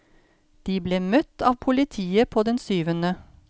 De ble møtt av politiet på den syvende.